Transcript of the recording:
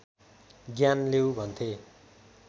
ज्ञान लेऊ भन्थे